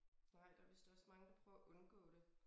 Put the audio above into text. Nej der vist også mange der prøver at undgå det